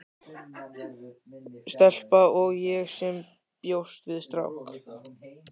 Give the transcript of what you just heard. Stelpa- og ég sem bjóst við strák.